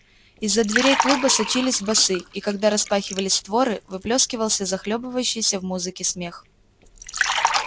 из-за дверей клуба сочились басы и когда распахивались створы выплёскивался захлёбывающийся в музыке смех